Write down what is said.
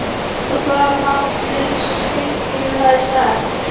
Og þar lá hún eins og Steingrímur hafði sagt.